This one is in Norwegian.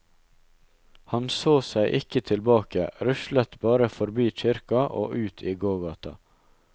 Han så seg ikke tilbake, ruslet bare forbi kirka og ut i gågata.